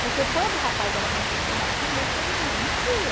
Porque quando o rapaz era bem intencionado com a moça, ele não mexia.